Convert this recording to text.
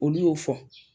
Olu y'o fɔ